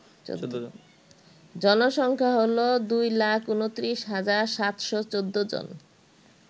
জনসংখ্যা হল ২২৯৭১৪ জন